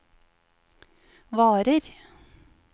varer